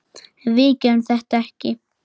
En við gerðum þetta ekki!